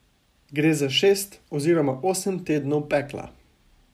Gre za šest oziroma osem tednov pekla.